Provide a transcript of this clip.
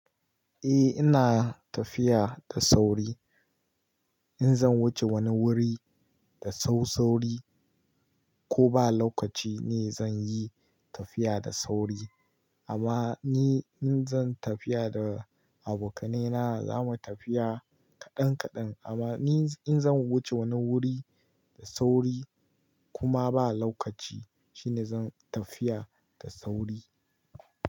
Eh ina tafiya da sauri in zan wuce wani wuri da sau sauri ko ba lokaci ne zan yi tafiya da sauri amma ni in zan tafiya da abokanai na zamu tafiya kaɗan kaɗan amma ni in zan wuce wani wuri da sauri kuma ba lokaci shine zan tafiya da sauri.